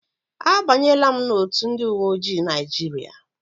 A banyela m n'otu ndị uwe ojii Naijiria.